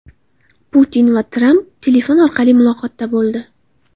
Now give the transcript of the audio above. Putin va Tramp telefon orqali muloqotda bo‘ldi.